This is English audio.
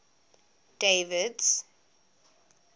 david's